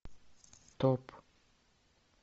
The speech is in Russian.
стоп